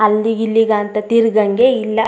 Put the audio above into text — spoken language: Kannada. ಅಲ್ಲಿಗೆ ಇಲ್ಲಿಗೆ ಅಂತ ತಿರಗಂಗೆ ಇಲ್ಲಾ .